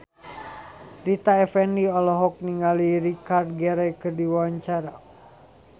Rita Effendy olohok ningali Richard Gere keur diwawancara